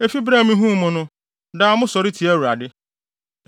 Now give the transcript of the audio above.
Efi bere a mihuu mo no, daa mosɔre tia Awurade.